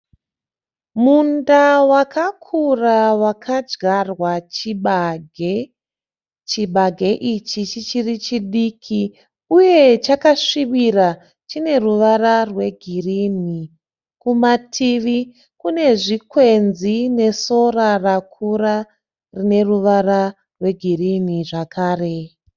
Munda wakakura wakadyarwa chibage. Chibage ichi chichiri chidiki uye chakasvibira chine ruvara rwegirini. Kumativi kune zvikwenzi nesora rakura rine ruvara rwegirini zvakare.